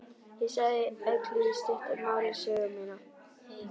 Ég sagði Öllu í stuttu máli sögu mína.